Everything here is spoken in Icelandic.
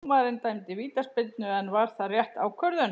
Dómarinn dæmdi vítaspyrnu, en var það rétt ákvörðun?